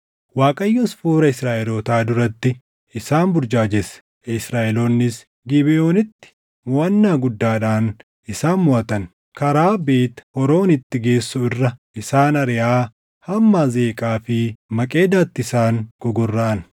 Waaqayyos fuula Israaʼelootaa duratti isaan burjaajesse; Israaʼeloonnis Gibeʼoonitti moʼannaa guddaadhaan isaan moʼatan. Karaa Beet Horoonitti geessu irra isaan ariʼaa hamma Azeeqaa fi Maqeedaatti isaan gogorraʼan.